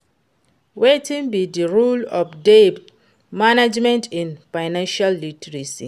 Wetin be di role of debt management in financial literacy?